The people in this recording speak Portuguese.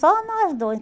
Só nós dois.